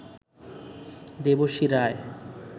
Debashree Roy